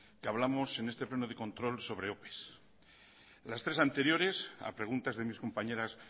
que hablamos en este pleno de control sobre ope las tres anteriores a preguntas de mis compañeras